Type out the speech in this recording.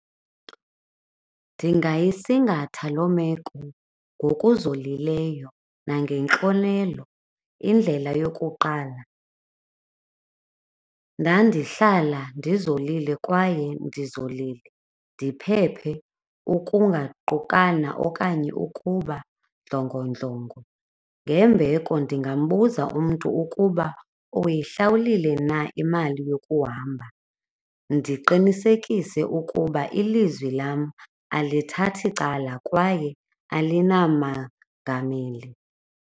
Ndingayisingatha loo meko ngokuzolileyo nangentlonelo. Indlela yokuqala, ndandihlala ndizolile kwaye ndizolile, ndiphephe ukungaqokana okanye ukuba ndlongondlongo. Ngembeko ndingambuza umntu ukuba uyihlawulile na imali yokuhamba, ndiqinisekise ukuba ilizwi lam alithathi cala kwaye alinamagameli.